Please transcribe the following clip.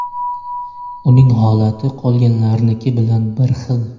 Uning holati qolganlarniki bilan bir xil.